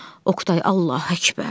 Oqtay, Allahu Akbar!